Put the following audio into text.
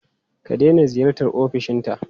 Ka daina ziyartar ofishinta!